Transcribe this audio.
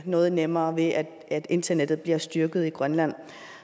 noget nemmere ved at at internettet bliver styrket i grønland